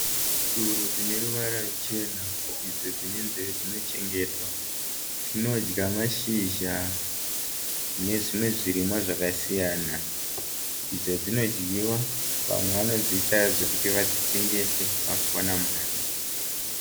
Tsuro dzine ruvara rwuchena idzo nzeve chena idzo dzinochetwa dzinodya mashizha nezvimwe zvirimwa zvakasiyana. Idzo dzinodyiwa vamwe vanodziita zvekuti vadzitengese kuti vachiwana mari.